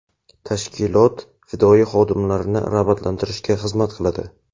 tashkilot fidoyi xodimlarini rag‘batlantirishga xizmat qiladi.